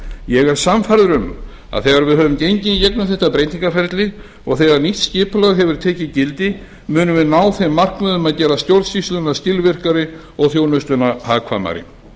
ég er sannfærður um að þegar við höfum gengið í gegnum þetta breytingaferli og þegar nýtt skipulag hefur tekið gildi munum við ná þeim markmiðum að gera stjórnsýsluna skilvirkari og þjónustuna hagkvæmari